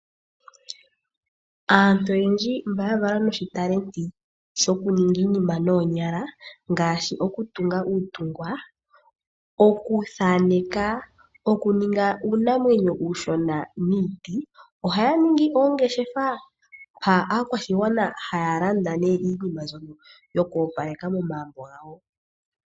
Aantu oyendji mba ya valwa noshitalenti shokuninga iinima noonyala, ngaashi okutunga uutungwa, okuthaaneka, okuninga uunamwenyo uushona niiti, ohaya ningi oongeshefa mpa aakwashigwana haya landa iinima mbyoka yoku opaleka momagumbo gawo.